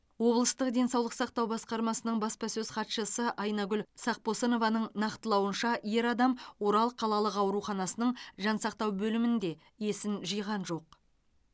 облыстық денсаулық сақтау басқармасының баспасөз хатшысы айнагүл сақпосынованың нақтылауынша ер адам орал қалалық ауруханасының жансақтау бөлімінде есін жиған жоқ